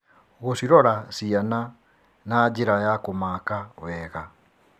Gũcirora ciana nĩ njĩra ya kũmaka wega.